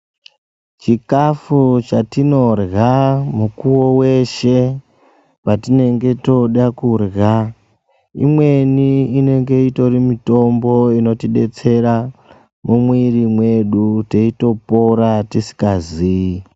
Chikafu chatinodya mukuwa wese patience tooda kura imweni inenge itori mitombo inotidetsera mumuiri wedu ,tichitipora tisingazive.